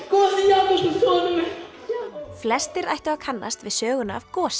gosi Jakobsson sonur minn flestir ættu að kannast við söguna af Gosa